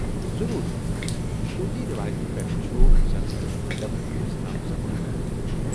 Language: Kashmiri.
ضروٗر! شرُ٘تی رٮ۪وایتہٕ پٮ۪ٹھٕ چُھ سنسکرت ادب اسہِ تام زبٲنۍ ووتمُت ۔